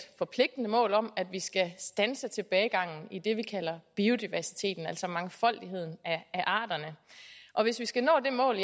forpligtende mål om at vi skal standse tilbagegangen i det vi kalder biodiversiteten altså mangfoldigheden af arterne og hvis vi skal nå det mål